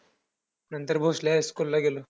नंतर भोसले हायस्कूलला गेलो.